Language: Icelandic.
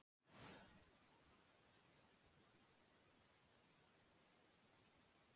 Það kemur á óvart hversu gaman er að undirbúa námskeiðið yfir bolla af espressó.